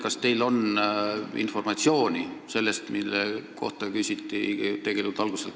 Kas teil on informatsiooni selle kohta, mida küsiti täna varem kaitseministrilt?